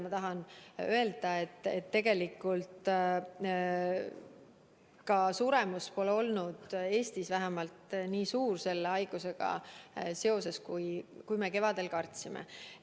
Ma tahan öelda, et tegelikult sellesse haigusse suremus pole olnud Eestis nii suur, kui me kevadel kartsime.